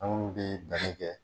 Anw bi kɛ.